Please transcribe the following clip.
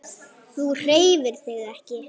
Þú hreyfir þig ekki.